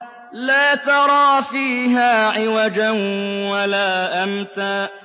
لَّا تَرَىٰ فِيهَا عِوَجًا وَلَا أَمْتًا